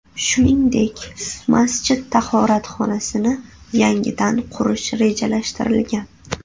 Shuningdek, masjid tahoratxonasini yangidan qurish rejalashtirilgan.